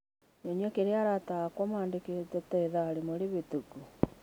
nyonie kĩrĩa arata akwa mandĩkĩte ta ithaa rĩmwe rĩhĩtũku.